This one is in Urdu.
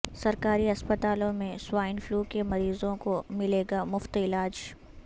سرکاری اسپتالوں میں سوائن فلو کے مریضوں کو ملے گا مفت علاج